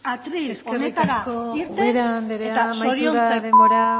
atril honetara irten eta zoriontzeko